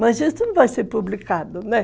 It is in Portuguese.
Mas isso não vai ser publicado, né?